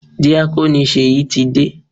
Díákónì Ṣèyí ti dé.